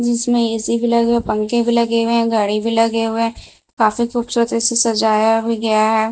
इसमें एसी भी लगे पंखे भी लगे हुए हैं गाड़ी भी लगे हुए हैं काफी खूबसूरत से सजाया भी गया है।